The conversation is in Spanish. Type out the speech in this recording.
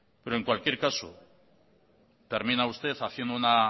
pero en cualquier caso termina usted haciendo una